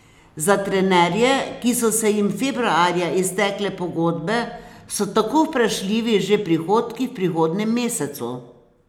Za trenerje, ki so se jim februarja iztekle pogodbe, so tako vprašljivi že prihodki v prihodnjem mesecu.